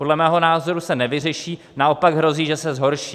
Podle mého názoru se nevyřeší, naopak hrozí, že se zhorší.